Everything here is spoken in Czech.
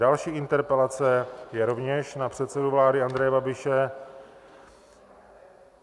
Další interpelace je rovněž na předsedu vlády Andreje Babiše.